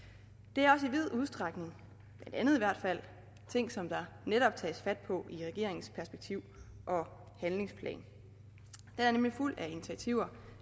det er også i vid udstrækning ting som der netop tages fat på i regeringens perspektiv og handlingsplan den er nemlig fuld af initiativer